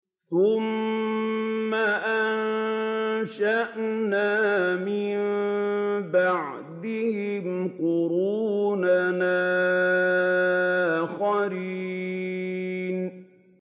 ثُمَّ أَنشَأْنَا مِن بَعْدِهِمْ قُرُونًا آخَرِينَ